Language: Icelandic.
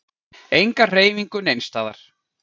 Enga hreyfingu neins staðar.